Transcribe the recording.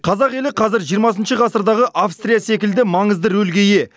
қазақ елі қазір жиырмасыншы ғасырдағы австрия секілді маңызды рөлге ие